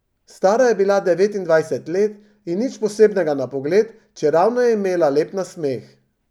Stara je bila devetindvajset let in nič posebnega na pogled, čeravno je imela lep nasmeh.